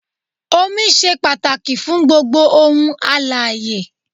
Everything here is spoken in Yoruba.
Omi ṣe pàtàkì fún gbogbo òun alààyè.